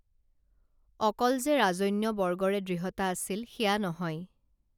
অকল যে ৰাজন্যবৰ্গৰে দৃঢ়তা আছিল সেয়া নহয়